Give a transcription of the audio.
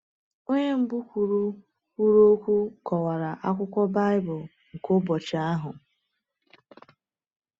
Onye mbụ kwuru kwuru okwu kọwara akwụkwọ Baịbụl nke ụbọchị ahụ.